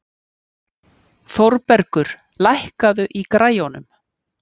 Þórbergur, lækkaðu í græjunum.